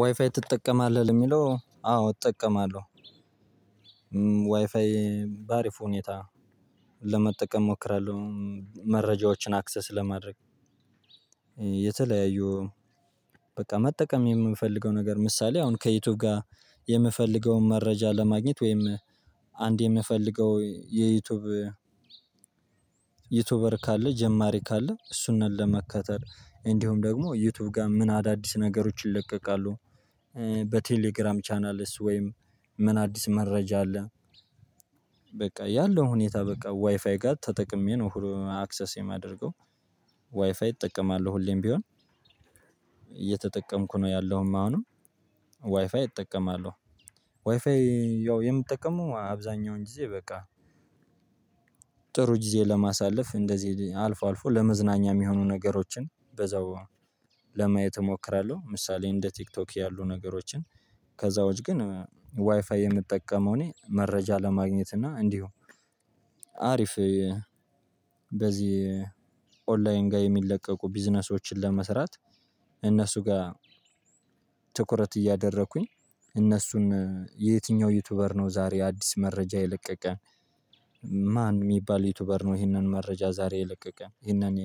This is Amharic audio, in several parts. ዋይፋይ ትጠቀማለህ ለሚለው አዎ እጠቀማለሁ። ዋይፋይ በአሪፉ ሁኔታ ለመጠቀም እሞክራለሁ መረጃዎችን አክሰስ ለማድረግ። የተለያዩ በቃ መጠቀም የምንፈልገው ነገር ምሳሌ አሁን ከዩቲዩብ ጋር የምፈልገውን መረጃ ለማግኘት ወይም አንድ የምፈልገው የዩቲዩብ ዩቲዩበር ካለ ጀማሪ ካለ እሱንን ለመከተል እንዲሁም ደግሞ ዩቲዩብ ጋር ምን አዳዲስ ነገሮች ይለቀቃሉ። በቴሌግራም ቻናልስ ወይም ምን አዲስ መረጃ አለ። በቃ ያለው ሁኔታ በቃ ዋይፋይ ጋር ተጠቅሜ ነው አክሰስ የማደርገው። ዋይፋይ እጠቀማለሁ ሁሌም ቢሆን እየተጠቀምኩ ነው ያለውም አሁንም ዋይፋይ እጠቀማለሁ። ዋይፋይ ያው የምጠቀመው አብዛኛውን ጊዜ በቃ ጥሩ ጊዜ ለማሳለፍ እንደዚህ አልፎ አልፎ ለመዝናኛ የሚሆኑ ነገሮችን በዛው ለማየት እሞክራለሁ። ምሳሌ እንደ ቲክቶክ ያሉ ነገሮችን ከዛው ውጭ ግን ዋይፋይ የምጠቀመው እኔ መረጃ ለማግኘት እና እንዲሁ አሪፍ በዚህ ኦንላይን ጋር የሚለቀቁ ቢዝነሶችን ለመስራት እነሱ ጋር ትኩረት እያደረኩኝ እነሱን የትኛው ዩቲዩበር ነው ዛሬ አዲስ መረጃ የለቀቀ? ማን የሚባል ዩቲዩበር ነው? ይሄንን መረጃ ዛሬ ይለቀቀ ይሄንን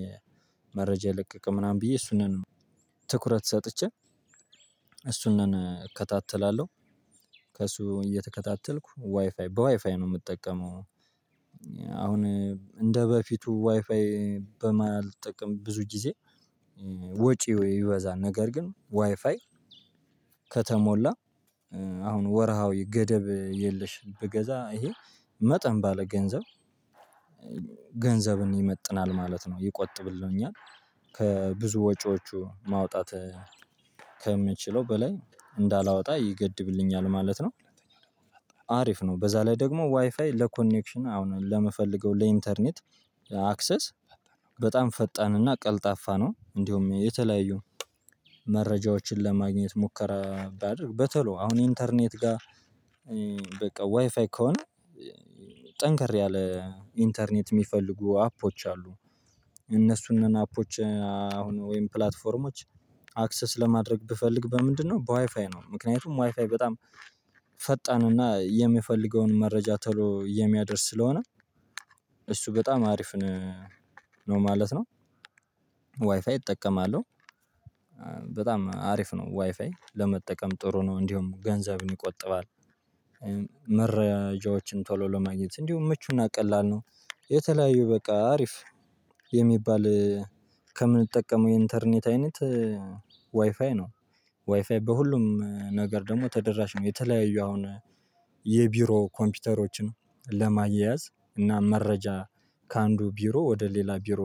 መረጃ ይለቀቀ ምናምን ብዬ እሱን ነን ትኩረት ሰጥቼ እሱን እከታተላለሁ። ከሱ እየተከታተልኩ ዋይፋይ በዋይፋይ ነው የምጠቀመው። አሁን እንደበፊቱ ዋይፋይ በማልጠቅም ብዙ ጊዜ ወጪ ይበዛል ነገር ግን ዋይፋይ ከተሞላ አሁን ወርሃው ገደብ የለሽ ብገዛ ይሄ መጠን ባለ ገንዘብ ገንዘብን ይመጥናል ማለት ነው ይቆጥብልኛል። ከብዙ ወጪዎቹ ማውጣት ከምችለው በላይ እንዳላወጣ ይገድብልኛል ማለት ነው። አሪፍ ነው በዛ ላይ ደግሞ ዋይፋይ ለኮኔክሽን አሁን ለመፈለገው ለኢንተርኔት አክሰስ በጣም ፈጣንና ቀልጣፋ ነው። እንዲሁም የተለያዩ መረጃዎችን ለማግኘት ሙከራ ባደርግ በተሎ አሁን ኢንተርኔት ጋር በቃ ዋይፋይ ከሆነ ጠንከር ያለ ኢንተርኔት የሚፈልጉ አፖች አሉ። እነሱንም አፖች አሁን ወይም ፕላትፎርሞች አክሰስ ለማድረግ ብፈልግ በምንድነው በዋይፋይ ነው። ምክንያቱም ዋይፋይ በጣም ፈጣንና የምፈልገውን መረጃ ቶሎ የሚያደርስ ስለሆነ እሱ በጣም አሪፍ ነው ማለት ነው። ዋይፋይ እጠቀማለሁ። በጣም አሪፍ ነው ዋይፋይ ለመጠቀም ጥሩ ነው እንዲሁም ገንዘብን ይቆጥባል። መረጃዎችን ቶሎ ለማግኘት እንዲሁም ምቹና ቀላል ነው። የተለያዩ በቃ አሪፍ የሚባል ከምንጠቀመው የኢንተርኔት አይነት ዋይፋይ ነው። ዋይፋይ በሁሉም ነገር ደግሞ ተደራሽ ነው የተለያዩ አሁን የቢሮ ኮምፒውተሮችን ለማያያዝ እና መረጃ ከአንዱ ቢሮ ወደ ሌላ ቢሮ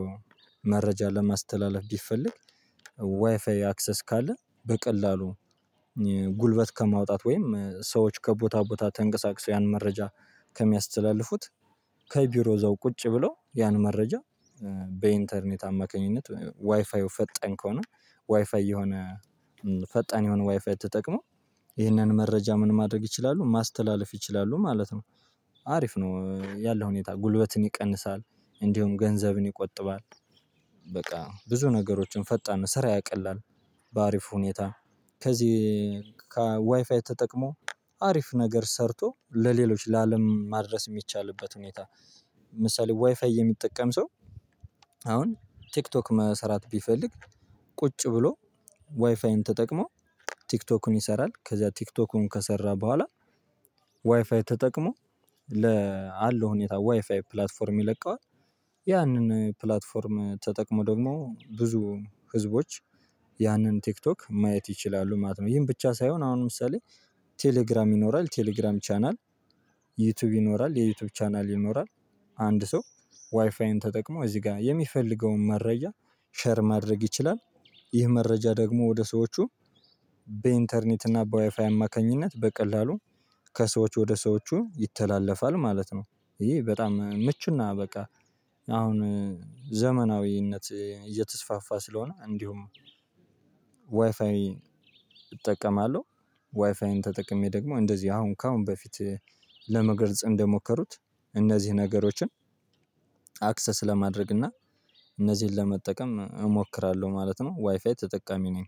መረጃ ለማስተላለፍ ቢፈልግ። ዋይፋይ አክሰስ ካለ በቀላሉ ጉልበት ከማውጣት ወይም ሰዎች ከቦታ ቦታ ተንቀሳቅሰው ያን መረጃ ከሚያስተላልፉት ከቢሮ እዛው ቁጭ ብለው ያን መረጃ በኢንተርኔት አማካኝነት ዋይፋው ፈጠን ከሆነ ዋይፋው የሆነ ፈጣን የሆነ ዋይፋው ተጠቅሞ ይህንን መረጃ ምን ማድረግ ይችላሉ ማስተላለፍ ይችላሉ ማለት ነው። አሪፍ ነው ያለው ሁኔታ ጉልበትን ይቀንሳል እንዲሁም ገንዘብን ይቆጥባል። በቃ ብዙ ነገሮችን ፈጣን ስራ ያቀላል። በአሪፍ ሁኔታ ከዚህ ከዋይፋይ ተጠቅሞ አሪፍ ነገር ሰርቶ ለሌሎች ለአለም ማድረስ የሚቻልበት ሁኔታ። ለምሳሌ ዋይፋይ የሚጠቀም ሰው አሁን ቲክቶክ መስራት ቢፈልግ ቁጭ ብሎ ዋይፋይን ተጠቅሞ ቲክቶኩን ይሰራል። ከዛ ቲክቶኩን ከሰራ በኋላ ዋይፋይ ተጠቅሞ ለ አለው ሁኔታ ዋይፋይ ፕላትፎርም ይለቀዋል። ያንን ፕላትፎርም ተጠቅሞ ደግሞ ብዙ ህዝቦች ያንን ቲክቶክ ማየት ይችላሉ ማለት ነው። ይሄን ብቻ ሳይሆን አሁን ለምሳሌ ቴሌግራም ይኖራል ቴሌግራም ቻናል ዩቲዩብ ይኖራል የዩቲዩብ ቻናል ይኖራል። አንድ ሰው ዋይፋይን ተጠቅሞ እዚህ ጋር የሚፈልገውን መረጃ ሼር ማድረግ ይችላል። ይህ መረጃ ደግሞ ወደ ሰዎቹ በኢንተርኔት እና በዋይፋይ አማካኝነት በቀላሉ ከሰዎች ወደ ሰዎቹ ይተላለፋል ማለት ነው። ይሄ በጣም ምቹና በቃ አሁን ዘመናዊነት እየተስፋፋ ስለሆነ እንዲሁም ዋይፋይ እጠቀማለሁ። ዋይፋይን ተጠቅሜ ደግሞ እንደዚህ አሁን ከአሁን በፊት ለመገርጽ እንደሞከሩት እነዚህን ነገሮችን አክሰስ ለማድረግ እና እነዚህን ለመጠቀም እሞክራለሁ ማለት ነው። ዋይፋይ ተጠቃሚ ነኝ።